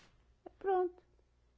E pronto.